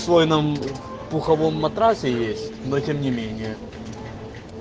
свой нам пуховом матрасе есть но тем не менее